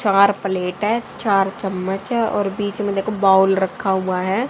चार प्लेट है चार चम्मच है और बीच में देखो बाउल रखा हुआ है।